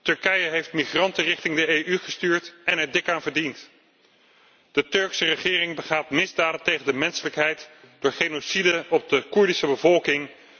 Turkije heeft migranten richting de EU gestuurd en er dik aan verdiend. De Turkse regering begaat misdaden tegen de menselijkheid door genocide op de Koerdische bevolking.